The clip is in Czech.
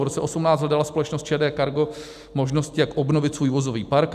V roce 2018 hledala společnost ČD Cargo možnosti, jak obnovit svůj vozový park.